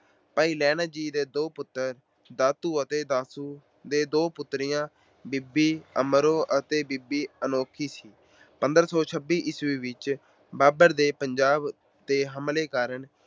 ਭਾਈ ਲਹਿਣਾ ਜੀ ਦੇ ਦੋ ਪੁੱਤਰ ਦਾਤੂ ਤੇ ਦਾਸੂ ਅਤੇ ਦੋ ਪੁੱਤਰੀਆਂ ਬੀਬੀ ਅਮਰੋ ਅਤੇ ਬੀਬੀ ਅਨੋਖੀ ਸੀ। ਪੰਦਰਾਂ ਸੌ ਛੱਬੀ ਈਸਵੀ ਵਿੱਚ ਬਾਬਰ ਦੇ ਪੰਜਾਬ ਤੇ ਹਮਲੇ ਕਾਰਨ